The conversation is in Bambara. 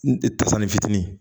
N tasanin fitinin